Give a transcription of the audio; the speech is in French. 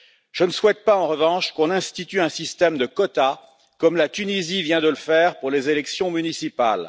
Je ne souhaite pas en revanche qu'on institue un système de quotas, comme la Tunisie vient de le faire pour les élections municipales.